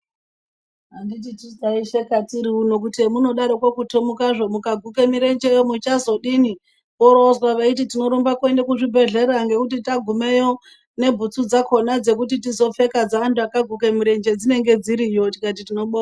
Anditi tisu taisheka tiri uno kuti emunodaroko kutomukazvo mukaguka mirenjeyo muchazodini. Worowozwa veiti tinorumba kuenda kuzvibhedhlera ngokuti tagumeyo nebhutsu dzakona dzekuti tizopfeka dzeanthu akaguke murenje dzinenge dziriyo, tikati tinobonga.